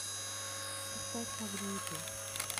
поставь магниты